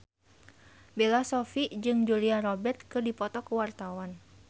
Bella Shofie jeung Julia Robert keur dipoto ku wartawan